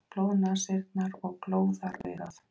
Blóðnasirnar og glóðaraugað.